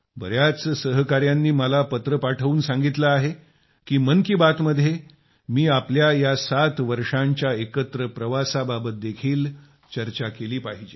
बर्याच सहकायांनी मला पत्रे पाठवून सांगितले आहे की मन की बात मध्ये मी आपल्या या 7 वर्षाच्या एकत्र प्रवासाबाबत देखील चर्चा केली पाहिजे